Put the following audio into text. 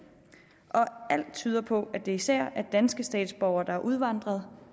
og alt tyder på at det især er danske statsborgere der er udvandret